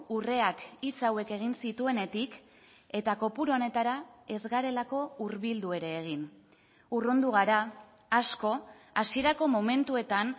urreak hitz hauek egin zituenetik eta kopuru honetara ez garelako hurbildu ere egin urrundu gara asko hasierako momentuetan